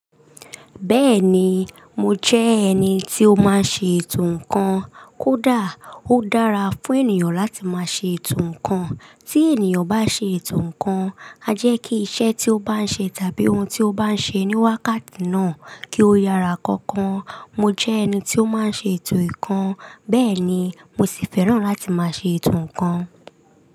Bẹ́ẹ̀ni, mo jẹ́ ẹni tí ó máa ń ṣe ètò ǹkan. Kódà ó dára fún ènìyàn láti máa ṣe ètò ǹkan. Tí ènìyàn bá ṣe ètò ǹkan, a jẹ́ kí iṣẹ́ tí ó bá ń ṣe tàbí ohun tí ó bá ń ṣe ní wákàtí náà kí ó yára kankan. Mo jẹ́ ẹni tí ó máa ń ṣe ètò ǹkan. Bẹ́ẹ̀ ni, mo sì fẹ́ràn láti máa ṣe ètò ǹkan.